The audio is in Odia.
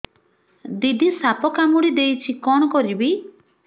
ଦିଦି ସାପ କାମୁଡି ଦେଇଛି କଣ କରିବି